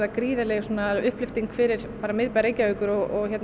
gríðarleg upplyfting fyrir miðbæ Reykjavíkur og